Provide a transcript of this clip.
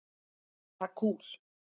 Bara kúl.